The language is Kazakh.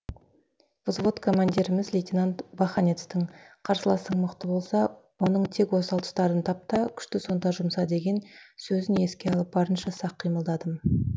взвод командиріміз лейтенант баханецтің қарсыласың мықты болса оның тек осал тұстарын тап та күшті сонда жұмса деген сөзін еске алып барынша сақ қимылдадым